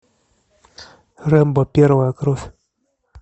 рэмбо первая кровь